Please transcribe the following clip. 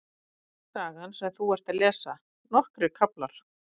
Í henni er sagan sem þú ert að lesa, nokkrir kaflar.